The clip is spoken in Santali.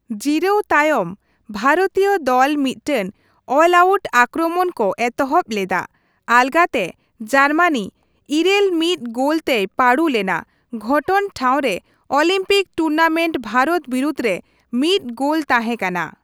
ᱡᱤᱨᱟᱹᱣ ᱛᱟᱭᱚᱢ, ᱵᱷᱟᱨᱚᱛᱤᱭᱟᱹ ᱫᱚᱞ ᱢᱤᱫᱴᱟᱝ ᱚᱞᱼᱟᱣᱩᱴ ᱟᱠᱨᱚᱢᱚᱱ ᱠᱚ ᱮᱛᱚᱦᱚᱵ ᱞᱮᱫᱟ ᱾ ᱟᱞᱜᱟᱛᱮ ᱡᱟᱨᱢᱟᱱᱤ ᱘ᱼ᱑ ᱜᱳᱞ ᱛᱮᱭ ᱯᱟᱺᱰᱩ ᱞᱮᱱᱟ ᱾ ᱜᱷᱚᱴᱚᱱ ᱴᱷᱟᱶ ᱨᱮ ᱚᱞᱤᱢᱯᱤᱠ ᱴᱩᱨᱱᱟᱢᱮᱱᱴ ᱵᱷᱟᱨᱚᱛ ᱵᱤᱨᱩᱫᱷ ᱨᱮ ᱢᱤᱫ ᱜᱳᱞ ᱛᱟᱸᱦᱮ ᱠᱟᱱᱟ᱾